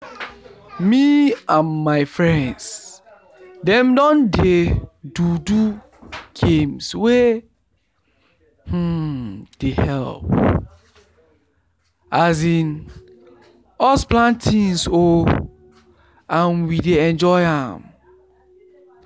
me and my friends dem don dey do do game wey um dey help um us plan things ooo and we dey enjoy an